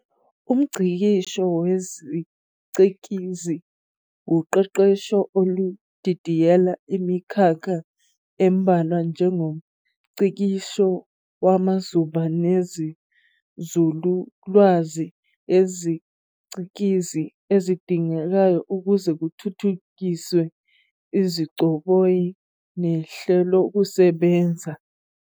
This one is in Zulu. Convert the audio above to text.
UmNgcikisho wesicikizi wuqeqesho oludidiyela imikhakha embalwa njengomngcikisho wamazuba nenzululwazi yesiCikizi ezidingekayo ukuze kuthuthukiswe izigcoboyi nehlelokusebenza.